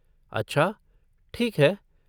अच्छा, ठीक है।